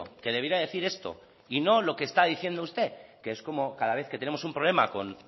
que debiera decir esto y no lo que está diciendo usted que es como cada vez que tenemos un problema con